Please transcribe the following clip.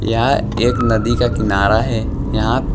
यह एक नदी का किनारा है यहां--